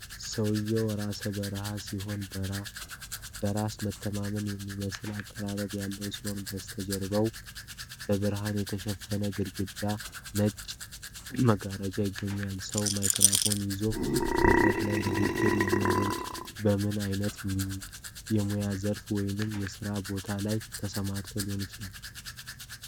ሰውዬው ራሰ በራ ሲሆን፣ በራስ መተማመን የሚመስል አቀራረብ ያለው ሲሆን፣ በስተጀርባውም በብርሃን የተሸፈነ ግድግዳና ነጭ መጋረጃዎች ይገኛሉ። ሰው ማይክራፎን ይዞ መድረክ ላይ ንግግር የሚያደርገው፣ በምን አይነት የሙያ ዘርፍ ወይም የስራ ቦታ ላይ ተሰማርቶ ሊሆን ይችላል?